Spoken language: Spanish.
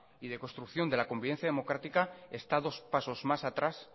y de construcción de la convivencia democrática está dos pasos más atrás